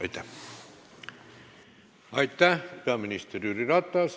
Aitäh, peaminister Jüri Ratas!